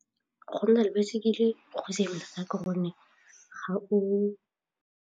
Go nna le baesekele go thata ka gonne ga o.